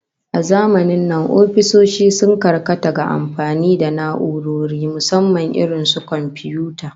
A zamanin nan ofisoshi sun karkata ga amfani da na'urori, musamman irin su komfiyuta